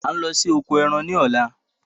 A ń lọ sí oko ẹran ní ọ̀la